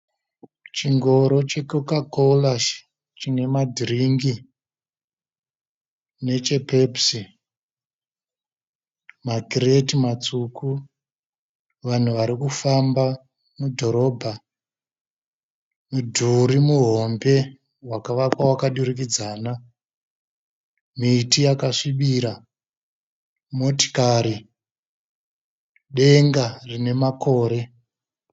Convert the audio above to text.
Chingoro che "Coca- Cola" chine madhiringi neche "Pepsi" makireti matsvuku, vanhu vari kufamba mudhorobha, mudhuri muhombe wakavakwa wakadurikidzana, miti yakasvibira ,motikari ,denga rine makore .